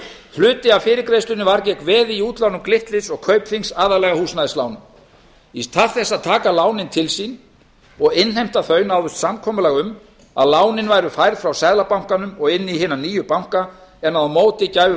hluti af fyrirgreiðslunni var því veð í útláni glitnis og kaupþings aðallega húsnæðislánum í stað þess að taka lánin til sín og innheimta þau náðist samkomulag um að lánin væru færð frá seðlabankanum og inn í hina nýju banka en á móti gæfu